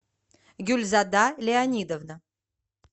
гюльзада леонидовна